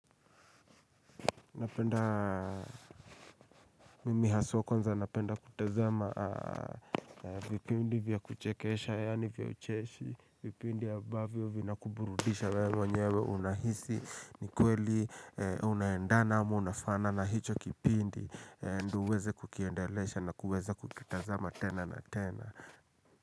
Napenda, mimi haswa kwanza, napenda kutasama vipindi vya kuchekesha, yani vya ucheshi vipindi ambavyo vina kuburudisha we mwenyewe unahisi, ni kweli, unaendana, unafana na hicho kipindi, ndo uweze kukiendalesha na kuweza kukitasama tena na tena.